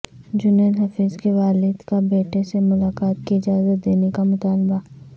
جنید حفیظ کے والد کا بیٹے سے ملاقات کی اجازت دینے کا مطالبہ